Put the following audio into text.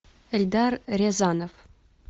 эльдар рязанов